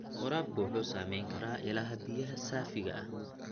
Waraabka wuxuu saameyn karaa ilaha biyaha saafiga ah.